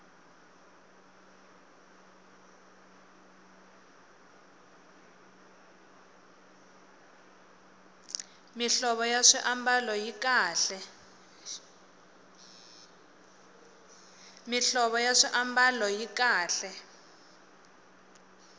mihlovo ya swiambalo yi kahle